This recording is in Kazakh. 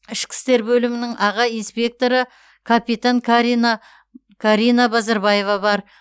ішкі істер бөлімі аға инспекторы капитан карина карина базарбаева бар